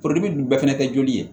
dun bɛɛ fɛnɛ te joli ye